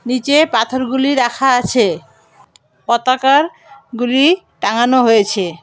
নীচে পাথরগুলি রাখা আছে পতাকারগুলি টাঙানো হয়েছে।